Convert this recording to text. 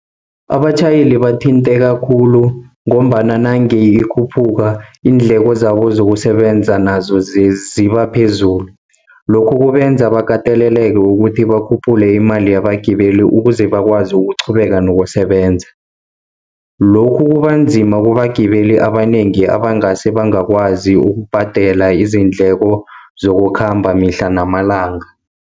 Abatjhayeli bathinteka khulu, ngombana nange ikhuphuka iindleko zabo zokusebenza nazo zibaphezulu. Lokhu kubenza bakateleleka ukuthi bakhuphule imali yagibele ukuze bakwazi ukuqhubeka nokusebenza. Lokhu kubanzima kubagibeli abanengi abangase bangakwazi ukubhadela izindleko zokukhamba mihla namalanga.